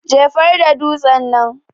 jefarda dutsen nan.